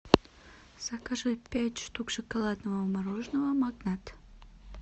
закажи пять штук шоколадного мороженого магнат